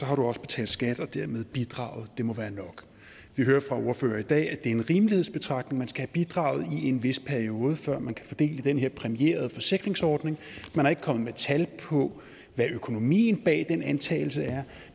har du også betalt skat og dermed bidraget det må være nok vi hører fra ordførere i dag at det er en rimelighedsbetragtning man skal have bidraget i en vis periode før man kan få del i den her præmierede forsikringsordning man er ikke kommet med tal på hvad økonomien bag den antagelse er